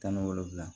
Tan ni wolonwula